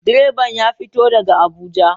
Direban ya fito daga Abuja.